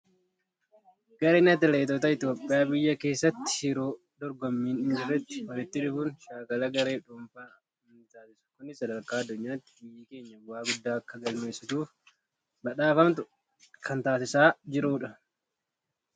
Gareen atileetota Itoophiyaa biyya keessatti yeroo dorgommiin hin jirretti walitti dhufuun shaakala garee fi dhuunfaan ni taasisu. Kunis sadarkaa addunyaatti biyyi keenya bu'aa guddaa Akka galmeessituu fi badhaafamtu kan taasisaa jirudha.